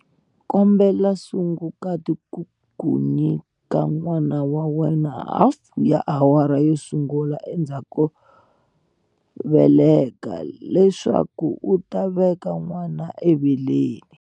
Kombela sungukati ku ku nyika n'wana wa wena hafu ya awara yo sungula endzhaku ko veleka, leswaku u ta veka n'wana eveleni.